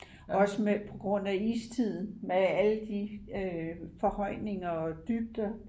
også med på grund af istiden med alle de forhøjninger og dybder